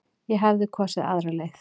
Ég hefði kosið aðra leið.